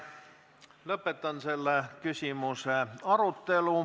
Lõpetan selle küsimuse arutelu.